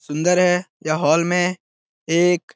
सुंदर है यह हॉल मे एक --